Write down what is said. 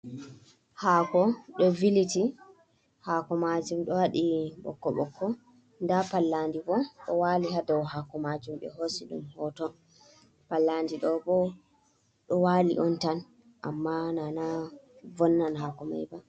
Haako ɗo viliti. Haako majum ɗo waɗi ɓokko-ɓokko. Nda pallandi bo ɗo wali ha daw haako majum ɓe hosi ɗum hoto. Pallandi ɗo bo ɗo wali on tan amma nana vonnan haako mai ba.